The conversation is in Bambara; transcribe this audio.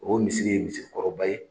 O misiri ye misiri kɔrɔba ye.